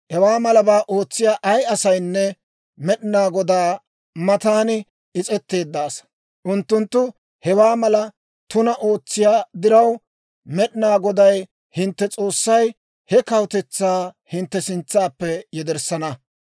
Hewaa malabaa ootsiyaa ay asaynne Med'inaa Godaa matan is's'etteedda asaa. Unttunttu hewaa mala tunaa ootsiyaa diraw, Med'inaa Goday hintte S'oossay he kawutetsaa hintte sintsaappe yederssana.